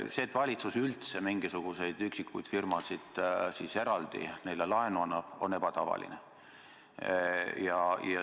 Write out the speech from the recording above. See, et valitsus üldse mingisugustele üksikutele firmadele eraldi laenu annab, on ebatavaline.